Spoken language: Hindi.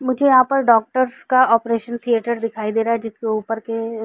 मुझे यहाँ पर डॉक्टर्स का ऑपरेशन थिएटर दिखाई दे रहा है जिसके ऊपर के --